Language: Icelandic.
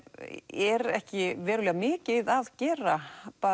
er ekki verulega mikið að gera